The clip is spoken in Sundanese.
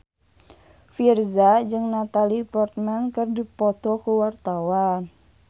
Virzha jeung Natalie Portman keur dipoto ku wartawan